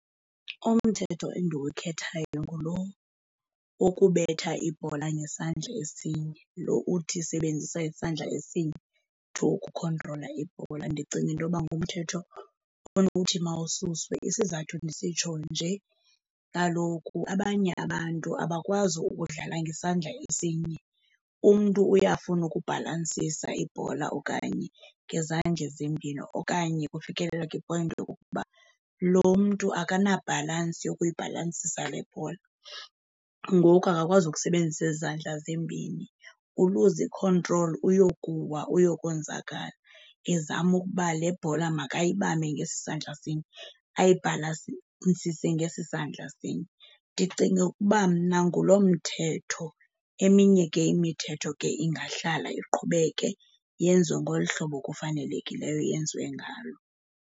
Umthetho endiwukhethayo ngulo wokubetha ibhola ngesandla esinye, lo uthi sebenzisa isandla esinye to ukukhontrola ibhola. Ndicinga into yoba ngumthetho onokuthi mawususwe. Isizathu ndisitsho nje, kaloku abanye abantu abakwazi ukudlala ngesandla esinye, umntu uyafuna ukubhalansisa ibhola okanye ngezandla ezimbini. Okanye kufikelela kwipoyinti yokokuba lo mntu akanabhalansi yokuyibhalansisa le bhola, ngoku akakwazi ukusebenzisa ezi zandla zimbini. Uluza ikhontroli uyokuwa uyokonzakala ezama ukuba le bhola makayibambe ngesi sandla sinye, ayibhalansisa ngesi sandla sinye. Ndicinga ukuba mna nguloo mthetho. Eminye ke imithetho ke ingahlala iqhubeke yenziwe ngolu hlobo kufanelekileyo yenziwe ngalo.